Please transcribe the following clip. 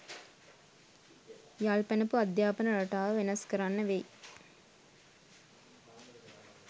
යල් පැනපු අධ්‍යාපන රටාව වෙනස් කරන්න වෙයි.